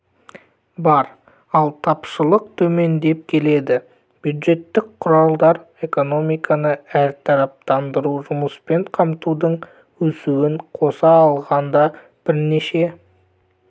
бар ал тапшылық төмендеп келеді бюджеттік құралдар экономиканы әртараптандыру жұмыспен қамтудың өсуін қоса алғанда бірнеше